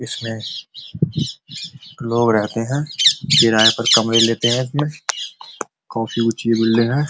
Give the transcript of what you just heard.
इसमें लोग रहते हैं। किराये पर कमरे लेते हैं इसमें। काफी ऊँची बिल्डिंग है।